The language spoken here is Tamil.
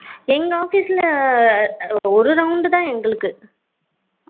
எங்க office ல ஒரு round தான் எங்களுக்கு